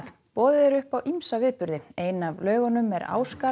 boðið er upp á ýmsa viðburði ein af laugunum er